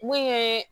Mun ye